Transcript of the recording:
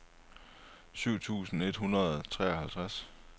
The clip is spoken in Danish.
sytten tusind et hundrede og treoghalvtreds